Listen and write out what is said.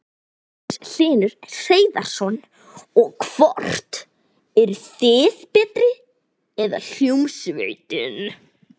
Magnús Hlynur Hreiðarsson: Og, hvort eruð þið betri eða hljómsveitin?